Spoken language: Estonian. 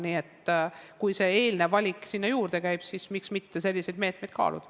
Nii et kui see eelnev valik sinna juurde käib, siis miks mitte selliseid meetmeid kaaluda.